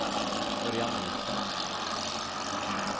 Örjan Nielsen